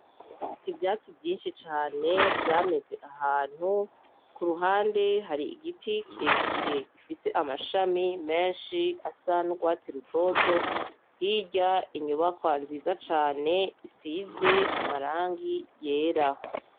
Ivyatsi vyinshi cane vyameze ahantu, kuruhande hari igiti kirekire gifise amashami menshi asa n'urwatsi rutoto. Hirya, inyubakwa nziza cane isize amarangi yera.